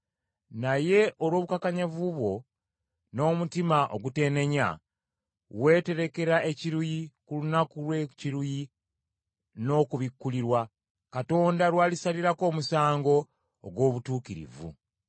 Naye olw’obukakanyavu bwo n’omutima oguteenenya, weeterekera ekiruyi ku lunaku lw’ekiruyi n’okubikkulirwa, Katonda lw’alisalirako omusango ogw’obutuukirivu.